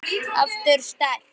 Aftur sterk.